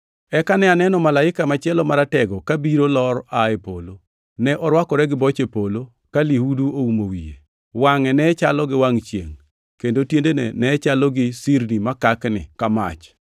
Eka ne aneno malaika machielo maratego, kabiro lor aa e polo. Ne orwakore gi boche polo ka lihudu oumo wiye; wangʼe ne chalo gi wangʼ chiengʼ, kendo tiendene ne chalo gi sirni makakni ka mach.